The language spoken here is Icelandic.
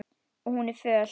Og hún er föl.